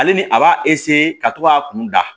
Ale ni a b'a ka to k'a kun da